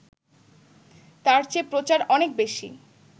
তার চেয়ে প্রচার অনেক বেশি